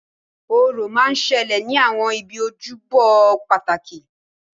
Orò máa ń ṣẹlẹ̀ ní àwọn ibi ojúbọ pàtàkì